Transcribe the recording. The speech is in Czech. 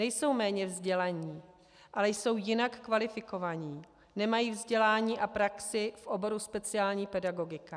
Nejsou méně vzdělaní, ale jsou jinak kvalifikovaní, nemají vzdělání a praxi v oboru speciální pedagogika.